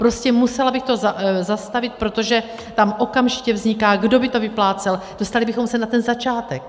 Prostě musela bych to zastavit, protože tam okamžitě vzniká, kdo by to vyplácel, dostali bychom se na ten začátek.